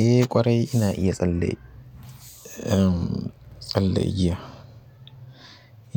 Eh ƙwarai ina iya tsalle, tsalle igiya.